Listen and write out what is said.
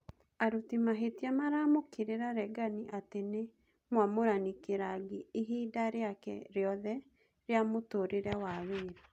Aruti mahĩtia maramũkĩrira Regani atĩ nĩ mũamũrani kĩrangĩ ihinda rĩake rĩothe rĩa mũtũrĩre wa wĩra.